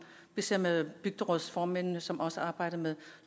vi ser med bygderådsformændene som også arbejder med